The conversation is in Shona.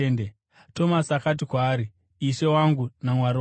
Tomasi akati kwaari, “Ishe wangu naMwari wangu!”